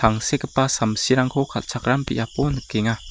tangsekgipa samsirangko kal·chakram biapo nikenga.